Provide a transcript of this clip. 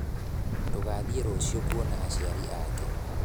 tũgathiĩ rũciũ kuona aciari ake